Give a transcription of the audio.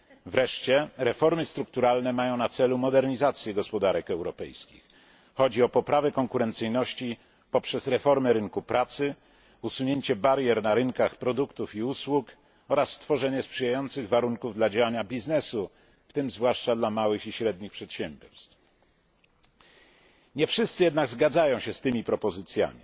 Wreszcie reformy strukturalne mają na celu modernizację gospodarek europejskich chodzi o poprawę konkurencyjności poprzez reformę rynku pracy, usunięcie barier na rynkach produktów i usług oraz stworzenie sprzyjających warunków dla działania biznesu, w tym zwłaszcza dla małych i średnich przedsiębiorstw. Nie wszyscy jednak zgadzają się z tymi propozycjami.